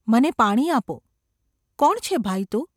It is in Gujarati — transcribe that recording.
‘મને પાણી આપો !’ ‘કોણ છે, ભાઈ તું?